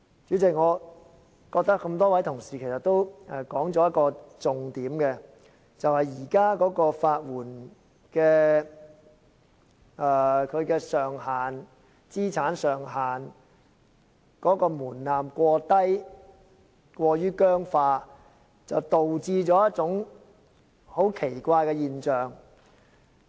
主席，我覺得各位同事說出了一個重點，就是現時法援資產上限的門檻過低，制度過於僵化，導致出現一種很奇怪的現象。